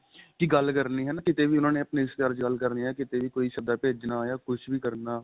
ਕੀ ਗੱਲ ਕਰਨੀ ਹਨਾ ਕਿੱਤੇ ਵੀ ਉਹਨਾ ਨੇ ਆਪਣੇ ਰਿਸ਼ਤੇਦਾਰ ਚ ਗੱਲ ਕਰਨੀ ਏ ਕੀਤੇ ਵੀ ਕੋਈ ਸਦਾ ਭੇਜਣਾ ਜਾਂ ਕੁੱਝ ਵੀ ਕਰਨਾ